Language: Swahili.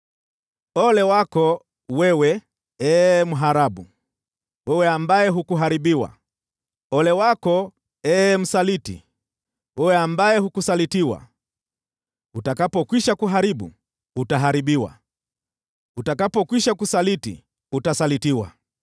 Ole wako wewe, ee mharabu, wewe ambaye hukuharibiwa! Ole wako, ee msaliti, wewe ambaye hukusalitiwa! Utakapokwisha kuharibu, utaharibiwa; utakapokwisha kusaliti, utasalitiwa.